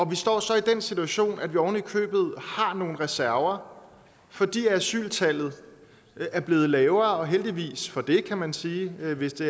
vi står så i den situation at vi oven i købet har nogle reserver fordi asyltallet er blevet lavere og heldigvis for det kan man sige hvis det